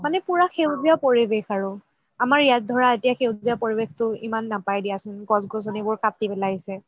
মানে পুৰা সেউজীয়া পৰিৱেশ আৰু আমাৰ ইয়াত ধৰা সেউজীয়া পৰিৱেশটো ইমান নাপাই দিয়াচোন গছ গছনিবোৰ কাতি পেলাইছে